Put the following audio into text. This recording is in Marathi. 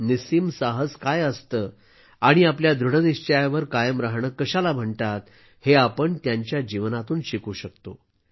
निस्सीम साहस काय असतं आणि आपल्या दृढनिश्चयावर कायम राहणं कशाला म्हणतात हे आपण त्यांच्या जीवनातून शिकू शकतो